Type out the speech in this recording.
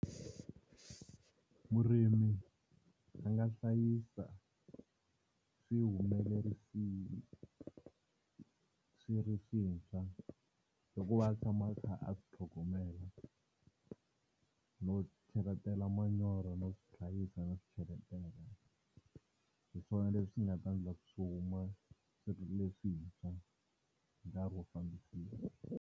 Murimi a nga hlayisa swihumelerisiwa swi ri swintshwa hikuva a tshama a kha a swi tlhogomela no cheletela manyoro no hlayisa no swi cheletela hi swona leswi nga ta endla ku swi huma swi ri leswintshwa hi nkarhi wo fambisiwa.